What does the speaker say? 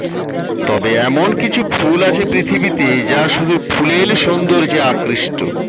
তবে এমন কিছু ফুল আছে পৃথিবীতে যা শুধু ফুলেল সৌন্দর্যে আকৃষ্ট